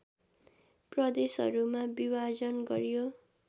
प्रदेशहरूमा विभाजन गरियो